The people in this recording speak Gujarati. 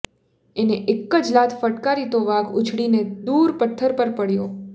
એણે એક જ લાત ફટકારી તો વાઘ ઊછળીને દૂર પથ્થર પર પડયો